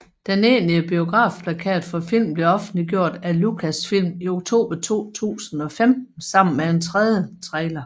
Den egentlige biografplakat for filmen blev offentliggjort af Lucasfilm i oktober 2015 sammen med en tredje trailer